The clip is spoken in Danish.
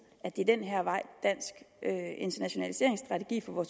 at det er den her vej dansk internationaliseringsstrategi for vores